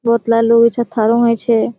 बोहोतला लोक इठे थारा होय छे।